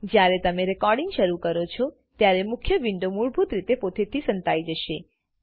જયારે તમે રેકોર્ડીંગ શરુ કરો છો ત્યારે મુખ્ય વિન્ડો મૂળભૂત રીતે પોતેથી સંતાઈ જશે